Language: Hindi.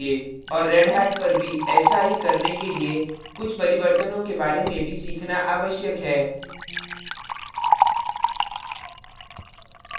और redhat पर भी ऐसा ही करने के लिए कुछ परिवर्तनो के बारे में भी सीखना आवश्यक है